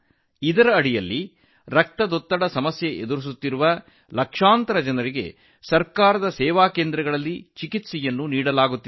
ಇದರ ಅಡಿಯಲ್ಲಿ ರಕ್ತದೊತ್ತಡ ಸಮಸ್ಯೆಯಿಂದ ಬಳಲುತ್ತಿರುವ ಲಕ್ಷಾಂತರ ಜನರು ಸರ್ಕಾರಿ ಕ್ಷೇಮ ಕೇಂದ್ರಗಳಲ್ಲಿ ಚಿಕಿತ್ಸೆ ಪಡೆಯುತ್ತಿದ್ದಾರೆ